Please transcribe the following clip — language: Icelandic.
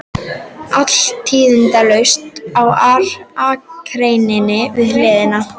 Allt tíðindalaust á akreininni við hliðina.